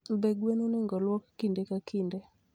Be gen onego oluk kinde ka kinde?